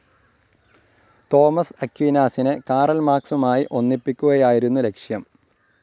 Thomas അക്വീനാസിനെ Karl മാർക്സുമായി ഒന്നിപ്പിക്കുകയായിരുന്നു ലക്‌ഷ്യം.